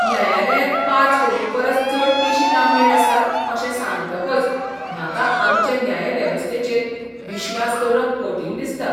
न्यायालयांत पांच कोटी परस चड केशी लांबणेर आसात अशें सांगतकच म्हाका आमचे न्याय वेवस्थेचेर विश्वास दवरप कठीण दिसता.